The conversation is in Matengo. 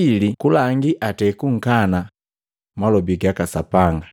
ili kalangi atei kukana malobi gaka Sapanga.”